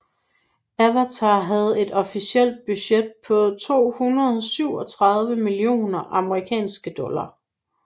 Avatar havde et officielt budget på 237 millioner amerikanske dollar